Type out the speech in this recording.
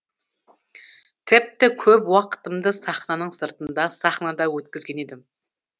тіпті көп уақытымды сахнаның сыртында сахнада өткізген едім